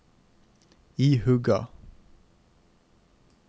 ihuga